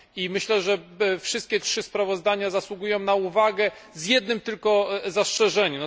Myślę, że wszystkie trzy sprawozdania zasługują na uwagę, z jednym tylko zastrzeżeniem.